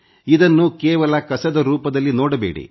ಇದನ್ನು ಕೇವಲ ಕಸದ ರೂಪದಲ್ಲಿ ನೋಡಬೇಡಿ